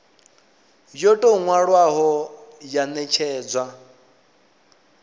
yo tou nwalwaho ya netshedzwa